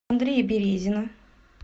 андрея березина